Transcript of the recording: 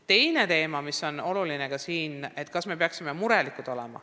Teine teema, mis on ka oluline – kas me peaksime olema murelikud.